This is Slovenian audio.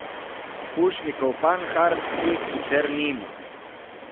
Pušnikov panhard teh sicer nima.